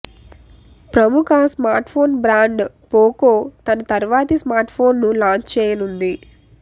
ప్రముఖ smart phone brand Poco తన తర్వాతి స్మార్ట్ ఫోన్ ను లాంచ్ చేయనుంది